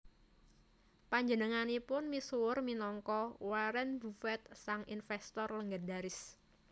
Panjenenganipun misuwur minangka Warren Buffett sang investor legendaris